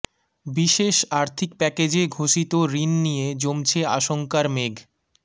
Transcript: বিশেষ আর্থিক প্যাকেজে ঘোষিত ঋণ নিয়ে জমছে আশঙ্কার মেঘ